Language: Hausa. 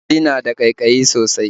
Ƙyasbi na da ƙaiƙayi sosai